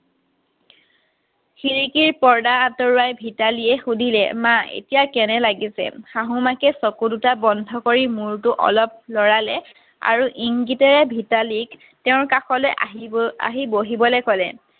খিৰিকীৰ পৰ্দা আঁতৰোৱাই ভিতালীয়ে সুধিলে মা এতিয়া কেনে লাগিছে শাহ মাকে চকু দুটা বন্ধ কৰি মূৰতো অলপ লৰালে আৰু ইংগিতেৰে ভিতালীক তেওঁৰ কাষলৈ আহি বহিবলৈ ক'লে